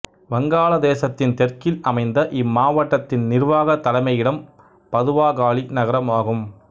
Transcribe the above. வங்காளதேசத்தின் தெற்கில் அமைந்த இம்மாவட்டத்தின் நிர்வாகத் தலைமையிடம் பதுவாகாளி நகரம் ஆகும்